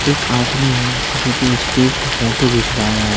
एक आदमी है जोकी स्टेज पे फोटो घिचवा रहा--